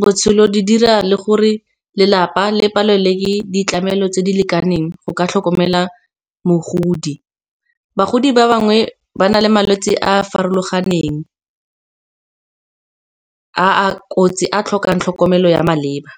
botshelo di dira le gore lelapa le palelwe ditlamelo tse di lekaneng go ka tlhokomela mogodi. Bagodi ba bangwe ba na le malwetse a a farologaneng a a kotsi a tlhokang tlhokomelo ya maleba.